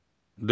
Dörd.